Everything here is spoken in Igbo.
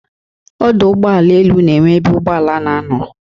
Ọdụ ụgbọ elu na-enwe ebe ụgbọ ala na-anọ.